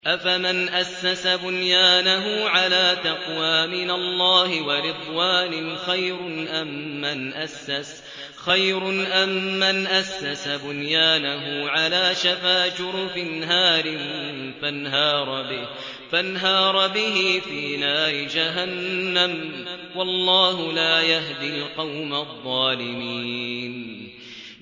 أَفَمَنْ أَسَّسَ بُنْيَانَهُ عَلَىٰ تَقْوَىٰ مِنَ اللَّهِ وَرِضْوَانٍ خَيْرٌ أَم مَّنْ أَسَّسَ بُنْيَانَهُ عَلَىٰ شَفَا جُرُفٍ هَارٍ فَانْهَارَ بِهِ فِي نَارِ جَهَنَّمَ ۗ وَاللَّهُ لَا يَهْدِي الْقَوْمَ الظَّالِمِينَ